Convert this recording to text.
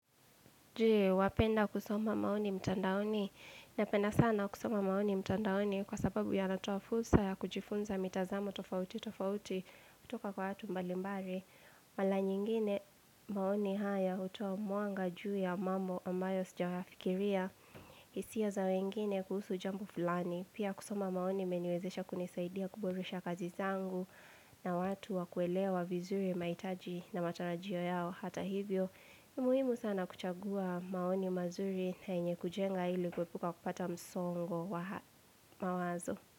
Wapenda kusoma maoni mtandaoni? Napenda sana kusoma maoni mtandaoni kwa sababu yanatoa fursa ya kujifunza mitazamo tofauti tofauti kutoka kwa watu mbalimbali Mara nyingine maoni haya hutoa mwanga juu ya mambo ambayo sijayafikiria, hisia za wengine kuhusu jambo fulani. Pia kusoma maoni imeniwezesha kunisaidia kuburudisha kazi zangu na watu wakuelewa vizuri mahitaji na matarajio yao, hata hivyo muhimu sana kuchagua maoni mazuri na yenye kujenga ili kuepuka kupata msongo wa mawazo.